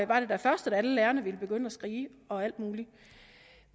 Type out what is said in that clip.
var det da først at alle lærerne ville begynde at skrige og alt muligt